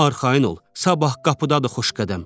Arxayın ol, sabah qapıdadır Xoşqədəm.